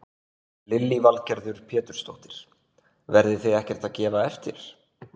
Lillý Valgerður Pétursdóttir: Verðið þið ekkert að gefa eftir?